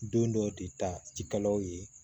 Don dɔw de ta jikalaw ye